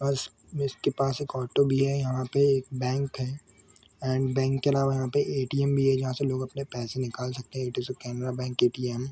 बस बिस के पास एक ऑटो भी है यहाँ पे एक बैंक है एंड बैंक अलावा यहाँ पे ए.टी.एम भी है जहाँ से लोग अपने पैसे निकाल सकते है ये तो सो कैमरा बैंक ए.टी.एम ।